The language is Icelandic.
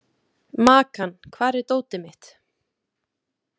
Makan, hvar er dótið mitt?